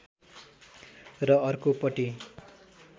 र अर्को पटि